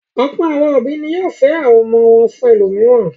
Ọ̀pọ̀ àwọn òbí ni yóò fẹ́ àwọn ọmọ fún ẹlòmíràn.